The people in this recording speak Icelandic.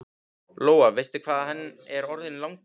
Lóa: Veistu hvað hann er orðinn langur?